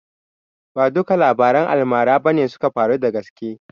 Ba duka labaran almara bane suka faru da gaske